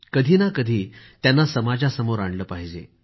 कधीना कधी त्यांना समाजासमोर आणलं पाहिजे